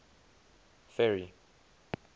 ferry